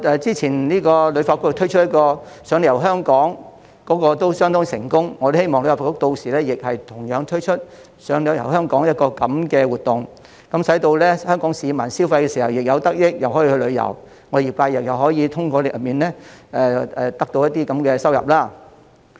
之前旅發局推出的"賞你遊香港"活動亦相當成功，我希望旅發局屆時亦會推出"賞你遊香港"的活動，使香港市民在消費時既能得益，又可以去旅遊，業界又可以通過活動得到收入。